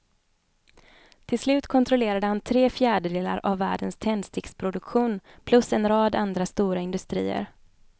Till slut kontrollerade han tre fjärdedelar av världens tändsticksproduktion plus en rad andra stora industrier.